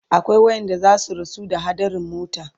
akwai waƴanda zasu rasu ta haɗarin mota